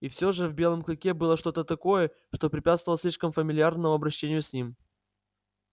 и все же в белом клыке было что то такое что препятствовало слишком фамильярному обращению с ним